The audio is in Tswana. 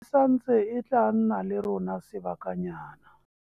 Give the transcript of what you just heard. Santse e tla nna le rona sebakanyana.